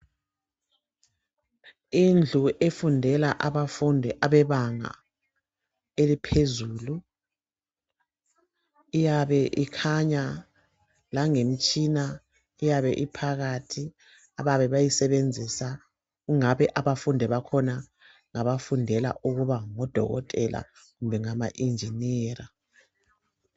Indlu efundela abafundi abebanga eliphezulu iyabe ikhanya langemtshina eyabe iphakathi ababe beyisebenzisa kungabe abafundi bakhona ngabafundela ukuba ngodokotela kumbe ama injiniya.